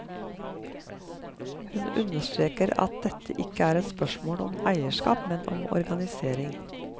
Hun understreker at dette ikke er et spørsmål om eierskap, men om organisering.